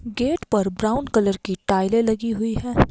Gate पर brown colour की टाइलें लगी हुई हैं।